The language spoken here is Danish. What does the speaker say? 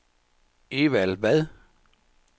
Evald Vad